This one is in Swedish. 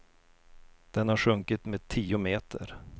Den har sjunkit med tio meter.